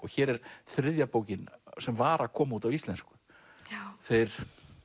hér er þriðja bókin sem var að koma út á íslensku þeir